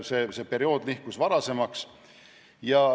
See periood nihkus varasemaks.